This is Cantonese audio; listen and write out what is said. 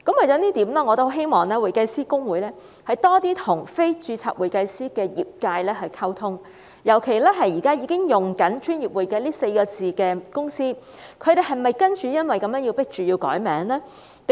就此，我希望公會多些與非註冊會計師的業界溝通，尤其現時已經使用"專業會計"這4個字的公司，他們是否因而被迫要更改名稱呢？